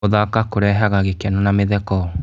Gũthaka kũrehaga gĩkeno na mĩtheko.